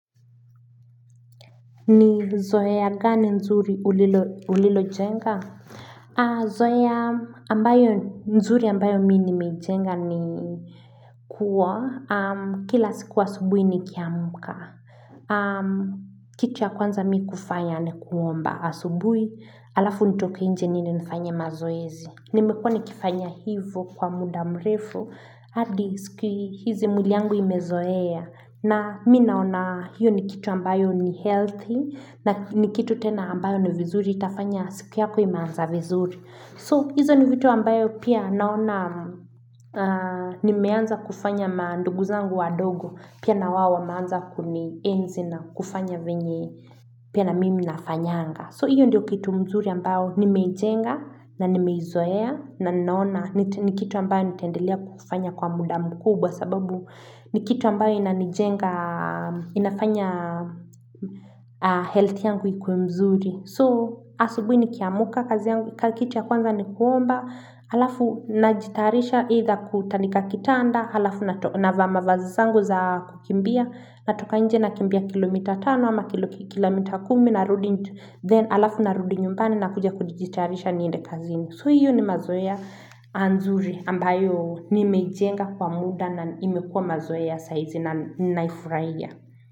Ni zoe a gani nzuri ulilo jenga? Zoeya ambayo nzuri ambayo mi nimejenga ni kuwa, kila sikua subui ni kiamka. Kitu ya kwanza mi kufanya ni kuomba asubuhi, alafu nitoke nje nini nifanya mazoezi. Nimekuwa nikifanya hivo kwa muda mrefu, hadi siku hizi mwiliyangu imezoea. Na mina ona hiyo ni kitu ambayo ni healthy na nikitu tena ambayo ni vizuri itafanya siku yako imeanza vizuri. So hizo ni vitu ambayo pia naona ni meanza kufanya maanduguzangu wadogo pia na waowa meanza kuni enzi na kufanya vyenye pia na mimi nafanyanga. So hiyo ndiyo kitu mzuri ambao nimejenga na nimeizoea na ninaona ni kitu ambayo nitendelea kufanya kwa muda mkubwa sababu ni kitu ambayo inafanya health yangu ikuwe mzuri. So asubuhi ni kiamuka kazi yangu, kakitua kwanza ni kuomba, alafu najitarisha either kutandika kitanda, halafu na vaama vazizangu za kukimbia, natoka nje na kimbia kilomita tano ama kilomita kumi na rudi, then halafu narudi nyumbani na kuja kujitayarisha niende kazi ni. So hiyo ni mazoea anzuri ambayo ni mejenga kwa muda na imekua mazoea saizi na naifurahia.